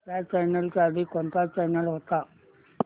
ह्या चॅनल च्या आधी कोणता चॅनल होता